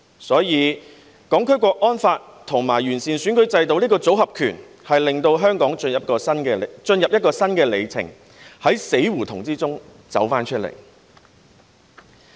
所以，《香港國安法》和完善選舉制度這個"組合拳"，令香港進入一個新里程，從死胡同走出來。